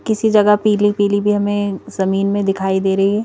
किसी जगह पीली-पीली भी हमें जमीन में दिखाई दे रही है।